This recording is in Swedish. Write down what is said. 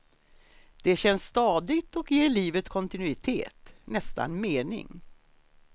Det känns stadigt och ger livet kontinuitet, nästan mening.